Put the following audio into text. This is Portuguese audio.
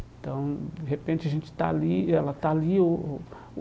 Então, de repente, a gente está ali, e ela está ali. O o